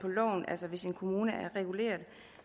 kommune er reguleret